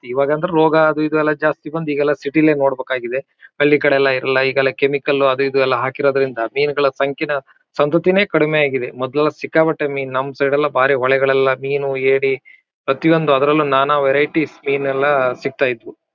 ಇವಾಗ್ ಅಂದ್ರೂ ರೋಗ ಅದು ಇದು ಎಲ್ಲ ಜಾಸ್ತಿ ಬಂದಿ ಈಗೆಲ್ಲ ಸಿಟಿ ಲೇ ನೋಡಬೇಕಾಗಿದೆ ಹಳ್ಳಿಕಡೆ ಎಲ್ಲ ಇರಲ್ಲ ಈಗೆಲ್ಲ ಕೆಮಿಕಲ್ ಅದು ಇದು ಎಲ್ಲ ಹಾಕಿರೋದರಿಂದ ಮೀನ್ ಗಳ ಸಂಖ್ಯೆನ ಸಂತುತ್ತಿನೆ ಕಡಿಮೆ ಆಗಿದೆ ಮೊದಲೆಲ್ಲಾ ಸಿಕ್ಕಾಪಟ್ಟೆ ಮೀನ್ ನಮ್ಮ್ ಸೈಡ್ ಲೆಲ್ಲ ಬಾರಿ ಹೊಳೆಗಳೆಲ್ಲ ಮೀನು ಏಡಿ ಪ್ರತಿಒಂದು ಅದರಲ್ಲೂ ನಾನಾ ವೇರಿಟಿಸ್ ಮೀನ್ ಎಲ್ಲ ಸಿಗ್ತಾಯಿದ್ವು